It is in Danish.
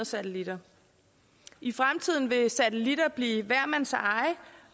satellitter i fremtiden vil satellitter blive hver mands eje